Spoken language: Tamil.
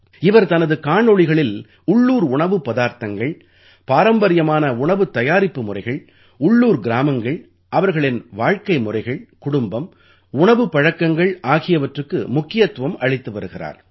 இவர் தனது காணொளிகளில் உள்ளூர் உணவுப் பதார்த்தங்கள் பாரம்பரியமான உணவுத் தயாரிப்பு முறைகள் உள்ளூர் கிராமங்கள் அவர்களின் வாழ்க்கை முறைகள் குடும்பம் உணவுப் பழக்கங்கள் ஆகியவற்றுக்கு முக்கியத்துவம் அளித்து வருகிறார்